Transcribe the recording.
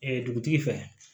dugutigi fɛ